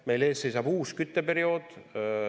Meil seisab ees uus kütteperiood.